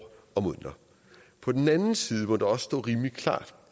år på den anden side må det også stå rimelig klart